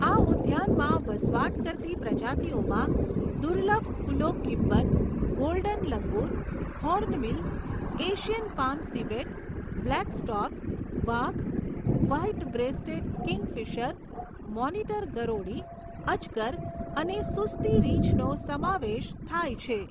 આ ઉદ્યાનમાં વસવાટ કરતી પ્રજાતિઓમાં દુર્લભ hoolock gibbon, golden langur, hornbill, Asian palm civet, black stork, વાઘ, વ્હાઇટ બ્રેસ્ટેડ કિંગફિશર, મોનિટર ગરોળી, અજગર અને સુસ્તી રીંછનો સમાવેશ થાય છે.